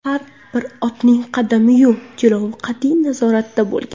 Har bir otning qadami-yu jilovi qat’iy nazoratda bo‘lgan.